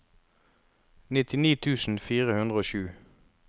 nittini tusen fire hundre og sju